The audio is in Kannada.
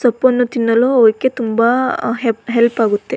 ಸೊಪ್ಪನ್ನು ತಿನ್ನಲು ಅವಕ್ಕೆ ತುಂಬಾ ಹೆಪ್ಪ್ ಹೆಲ್ಪ್ ಆಗುತ್ತೆ.